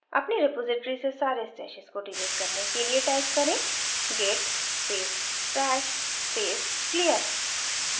अपनी रेपॉसिटरी से सारे stashes को डिलीट करने के लिए type करें git space stash space clear